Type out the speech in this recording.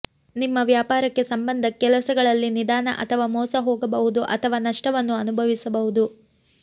ನಿಮ್ಮ ವ್ಯಾಪಾರಕ್ಕೆ ಸಂಬಂಧ ಕೆಲಸಗಳಲ್ಲಿ ನಿಧಾನ ಅಥವಾ ಮೋಸ ಹೋಗಬಹುದು ಅಥವಾ ನಷ್ಟವನ್ನು ಅನುಭವಿಸಬಹುದು